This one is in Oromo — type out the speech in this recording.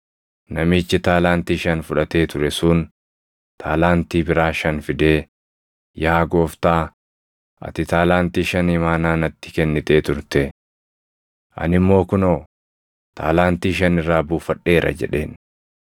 Namichi taalaantii shan fudhatee ture sun taalaantii biraa shan fidee, ‘Yaa gooftaa, ati taalaantii shan imaanaa natti kennitee turte. Ani immoo kunoo, taalaantii shan irraa buufadheera’ jedheen.